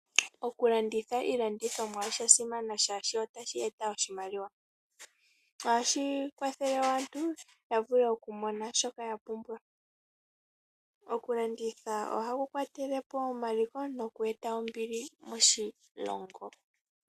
Okulanditha iilandithomwa oshasimana shaashi otashi eta oshimaliwa. Ohashi kwathele aantu ya vule oku mona shoka ya pumbwa. Okulanditha oha ku kwatelepo omaliko no ku eta ombili moshilongo.